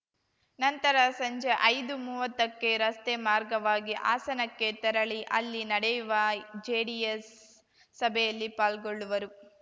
ನಂತರ ಸಂಜೆ ಐದುಮುವತ್ತಕ್ಕೆ ರಸ್ತೆ ಮಾರ್ಗವಾಗಿ ಹಾಸನಕ್ಕೆ ತೆರಳಿ ಅಲ್ಲಿ ನಡೆಯುವ ಜೆಡಿಎಸ್‌ ಸಭೆಯಲ್ಲಿ ಪಾಲ್ಗೊಳ್ಳುವರು